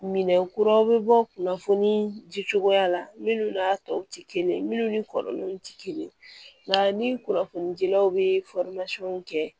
Minɛn kuraw bɛ bɔ kunnafoni ji cogoya la minnu n'a tɔw tɛ kelen ye minnu ni kɔrɔlenw tɛ kelen ye nka ni kunnafoni jilaw bɛ kɛ